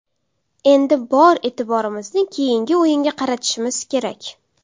Endi bor e’tiborimizni keyingi o‘yinga qaratishimiz kerak.